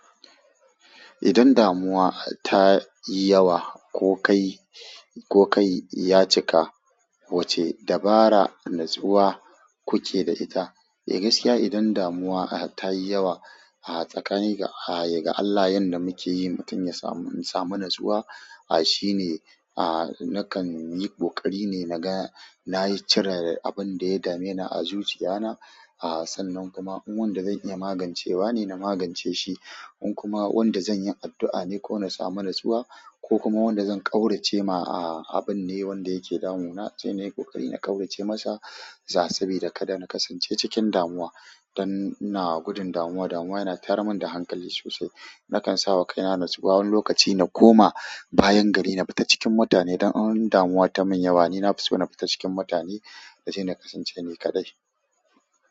Idan damuwa ta yi yawa ko kai, ko kai ya cika, wace dabara natsuwa kuke da ita? Eh gaskiya idan damuwa ta yi yawa, a tsakanin ga, ga Allah yanda muke yi mutum ya samu, in samu natsuwa. A shine, a nakan yi ƙoƙari ne na ga, nayi cirar abin da ya dame ni a zuciya na. A sannan kuma in wanda zan iya magancewa ne na magance shi, in kuma wanda zan yi addu'a ne ko na samu natsuwa, ko kuma wanda zan ƙaurace ma a abun ne wanda yake damunana sai nayi ƙoƙari na ƙaurace masa. Za sabi da kada na kasance cikin damuwa. Dan ina gudun damuwa, damuwa yana tayar mun da hankali sosai. Nakan sawa kaina natsuwa, wani lokaci na koma bayan gari na fita cikin mutane don in damuwa ta mun yawa. Ni na fi so na fita cikin mutane na je na kasance ni kaɗai.